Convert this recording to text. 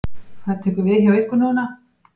Hvað tekur við hjá ykkur núna?